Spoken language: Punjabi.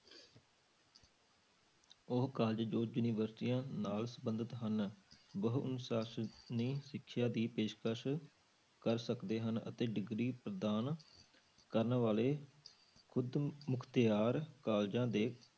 ਉਹ college ਜੋ ਯੂਨੀਵਰਸਟੀਆਂ ਨਾਲ ਸੰਬੰਧਤ ਹਨ ਬਹੁ ਅਨੁਸਾਸਨੀ ਸਿੱਖਿਆ ਦੀ ਪੇਸ਼ਕਸ ਕਰ ਸਕਦੇ ਹਨ, ਅਤੇ degree ਪ੍ਰਦਾਨ ਕਰਨ ਵਾਲੇ ਖੁੱਦ ਮੁਖਤਿਆਰ colleges ਦੇ